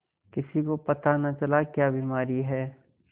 किसी को पता न चला क्या बीमारी है